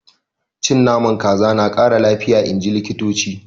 Cin Naman kaza na Kara lafiya inji likitoci.